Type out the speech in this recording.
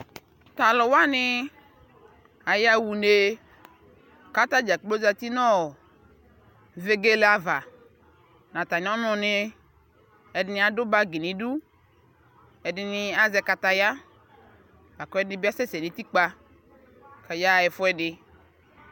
Taluwanii ayawa unee katani ɖʒakplo aƶaa nu vegeleeava natamiɔnu nɛ ɛdini adu bagi nidu ɛdinii aƶɛɛ kataya laku ɛdini bi asɛsɛ nutikpa kayawa ɛfuɛdi